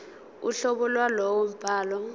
uhlobo lwalowo mbhalo